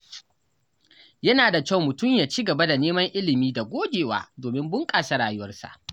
Yana da kyau mutum ya ci gaba da neman ilimi da gogewa domin bunƙasa rayuwarsa.